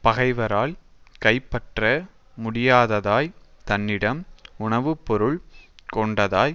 பகைவரால் கைப்பற்ற முடியாததாய் தன்னிடம் உணவுபொருள் கொண்டதாய்